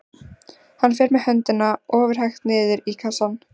Hann fer með höndina ofurhægt niður í kassann.